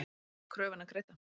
Fær ekki kröfuna greidda